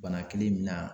Bana kelen min na